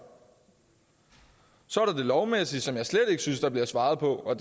så er der det lovmæssige som jeg slet ikke synes der bliver svaret på og